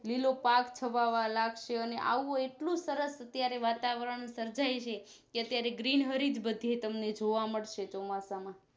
લીલો પાક છવાવા લાગશે અને આવું એટલું સરસ અત્યારે વાતાવરણ સર્જાય છે કે અત્યારે Green બધે તમને જોવા મળશે ચોમાસામાં